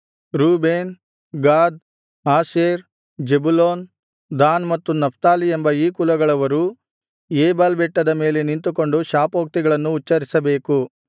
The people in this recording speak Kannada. Reuben Gad Asher Zebulun Dan ಮತ್ತು ನಫ್ತಾಲಿ ಎಂಬ ಈ ಕುಲಗಳವರು ಏಬಾಲ್ ಬೆಟ್ಟದ ಮೇಲೆ ನಿಂತುಕೊಂಡು ಶಾಪೋಕ್ತಿಗಳನ್ನು ಉಚ್ಚರಿಸಬೇಕು